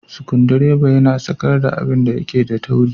sikundireba yana sakar da abinda yake da tauri.